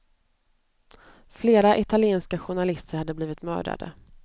Flera italienska journalister hade blivit mördade.